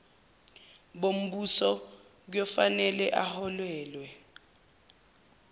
bombuso kuyofanele aholelwe